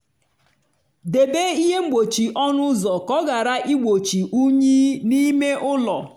debe ihe mgbochi ọnụ ụzọ ka ọ ghara igbochi unyi n'ime ụlọ.